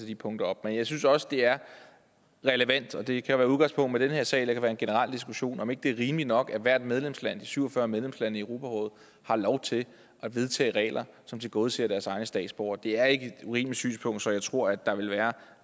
de punkter op men jeg synes også det er relevant og det kan være med udgangspunkt i den her sag eller det kan være en generel diskussion om ikke det er rimeligt nok at hvert medlemsland de syv og fyrre medlemslande i europarådet har lov til at vedtage regler som tilgodeser deres egne statsborgere det er ikke et urimeligt synspunkt så jeg tror at der vil være